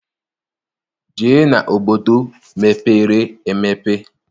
Jee n'obodo mepere emepe!